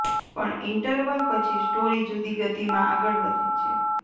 પણ ઈંટરવલ પછી સ્ટોરી જુદી ગતિમાં આગળ વધે છે